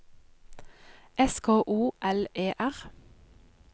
S K O L E R